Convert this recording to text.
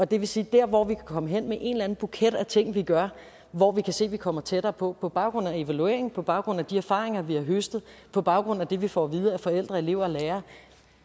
det vil sige der hvor vi kan komme hen med en eller anden buket af ting vi gør hvor vi kan se vi kommer tættere på på baggrund af evaluering på baggrund af de erfaringer vi har høstet og på baggrund af det vi får at vide af forældre elever og lærere